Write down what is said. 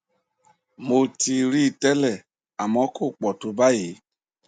mo ti rí i tẹlẹ àmọ kò pọ tó báyìí